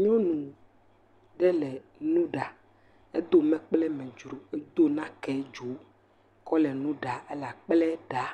Nyɔnu ɖe le nu ɖa, edo mekpoe me dzo edo nake medzo kɔ le akple ɖaa,